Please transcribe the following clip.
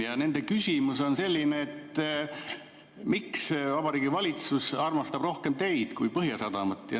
Ja nende küsimus on, miks Vabariigi Valitsus armastab rohkem teid kui Põhjasadamat.